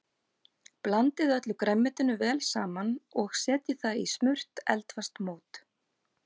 Blandið öllu grænmetinu vel saman og setjið það í smurt eldfast mót.